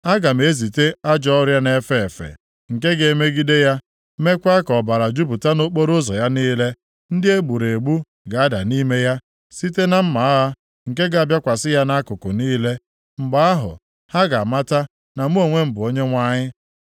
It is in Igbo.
Aga m ezite ajọ ọrịa na-efe efe, nke ga-emegide ya, meekwa ka ọbara jupụta nʼokporoụzọ ya niile. Ndị e gburu egbu ga-ada nʼime ya, site na mma agha nke ga-abịakwasị ya nʼakụkụ niile. Mgbe ahụ, ha ga-amata na mụ onwe m bụ Onyenwe anyị.